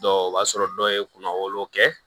o b'a sɔrɔ dɔw ye kunna wolo kɛ